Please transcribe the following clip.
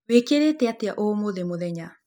Wĩkĩrĩte atĩa ũmũthĩ mũthenya?